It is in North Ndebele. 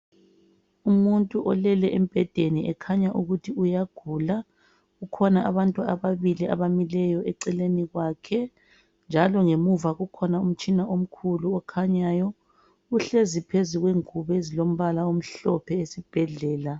Umuntu olele embhedeni ekhanya ukuthi uyagula kukhona abantu ababili abamileyo eceleni kwakhe njalo ngemuva kukhona umtshina omkhulu okhanyayo. Uhlezi phezulu kwengubo ezilompala omhlophe esibhedlela.